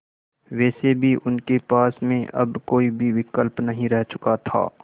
वैसे भी उनके पास में अब कोई भी विकल्प नहीं रह चुका था